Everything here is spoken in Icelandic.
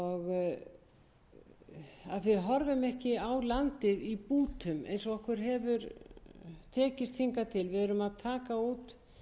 og landnýtingu að við horfum ekki á landið í bútum eins og okkur hefur tekist hingað til við erum að taka út